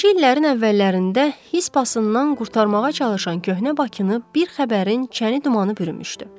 20-ci illərin əvvəllərində his pasından qurtarmağa çalışan köhnə Bakını bir xəbərin çəni dumanı bürümüşdü.